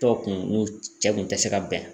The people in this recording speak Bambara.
kun n'u cɛ kun tɛ se ka bɛn